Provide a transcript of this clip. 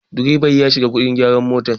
direban ya shiga wajen gyaran mota